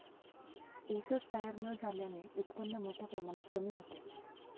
ऊसच तयार न झाल्याने उत्पन्न मोठ्या प्रमाणात कमी होते.